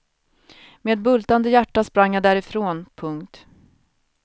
Med bultande hjärta sprang jag därifrån. punkt